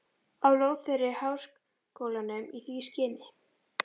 á lóð þeirri háskólanum í því skyni